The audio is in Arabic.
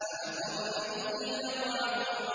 فَأَثَرْنَ بِهِ نَقْعًا